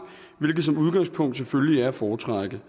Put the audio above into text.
hvilket som udgangspunkt selvfølgelig er at foretrække